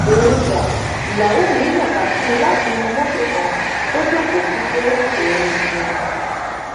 òun dáìyàwó mi ń nàka sí mi látinú mọtò kan tó jókòó sí pé òun nìyẹn